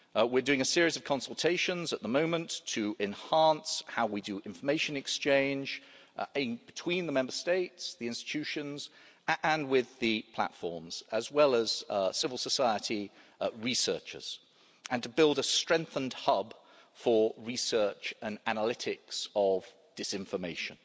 We're doing a series of consultations at the moment to enhance how we do information exchange between the Member States, the institutions and with the platforms, as well as civil society researchers, and to build a strengthened hub for research and analytics of disinformation.